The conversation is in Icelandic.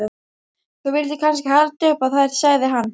Þú vildir kannski halda upp á þær, sagði hann.